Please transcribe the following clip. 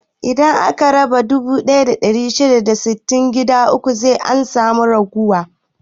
Idan aka raba dubu ɗaya da ɗari shida da sittin gida uku sai an samu ragowa.